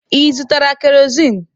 Ị zụtara kerozin?